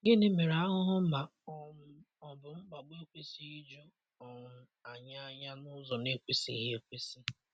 Gịnị mere ahụhụ ma um ọ bụ mkpagbu ekwesịghị iju um anyị anya n'ụzọ na-ekwesịghị ekwesị?